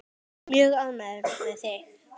Mjög ánægður með mig.